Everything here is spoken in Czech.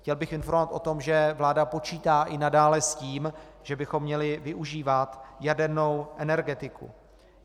Chtěl bych informovat o tom, že vláda počítá i nadále s tím, že bychom měli využívat jadernou energetiku.